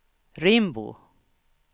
Rimbo